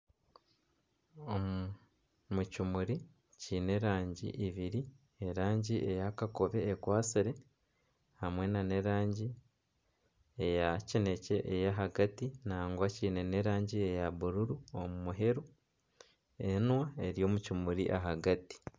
Omu kimuri kiine erangi ibiri, erangi eya kakobe ekwatsire hamwe nana erangi eya kinekye ekwatsire nangwa kiine n'erangi eya bururu aha muheru, enwa eri omu kimuri ahagati